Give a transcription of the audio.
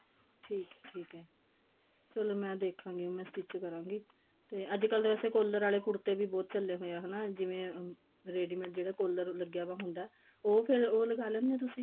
ਠੀਕ ਐ ਠੀਕ ਐ ਚਲੋ ਮੈਂ ਦੇਖਾਂਗੀ stich ਕਰਾਂਗੀ ਤੇ ਅੱਜਕਲ ਤਾਂ ਵੈਸੇ collar ਵਾਲੇ ਕੁੜਤੇ ਵੀ ਬਹੁਤ ਚਲੇ ਹੋਏ ਐ ਹਨਾ ਜਿਵੇਂ readymade ਜਿਹੜਾ collar ਲੱਗਿਆ ਵਿਆ ਹੁੰਦਾ ਉਹ ਫੇਰ ਉਹ ਲਗਾ ਲਿੰਦੇ ਓ ਤੁਸੀਂ